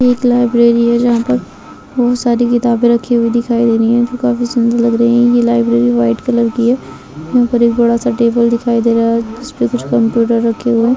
एक लाइब्रेरी है जहाँ पर बहुत सारी किताबे रखी हुई दिखाई दे रही हैं जो काफी सुंदर लग रही है ये लाइब्रेरी वाइट कलर की है यह पर एक बडा सा टेबल दिखाई दे रहा है जिस पर कुछ कंप्यूटर रखे हुए हैं।